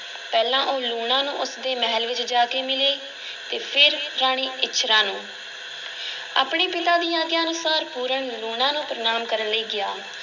ਪਹਿਲਾਂ ਉਹ ਲੂਣਾ ਨੂੰ ਉਸ ਦੇ ਮਹਿਲ ਵਿੱਚ ਜਾ ਕੇ ਮਿਲੇ ਅਤੇ ਫਿਰ ਰਾਣੀ ਇੱਛਰਾਂ ਨੂੰ ਆਪਣੇ ਪਿਤਾ ਦੀ ਆਗਿਆ ਅਨੁਸਾਰ ਪੂਰਨ ਲੂਣਾ ਨੂੰ ਪ੍ਰਨਾਮ ਕਰਨ ਲਈ ਗਿਆ।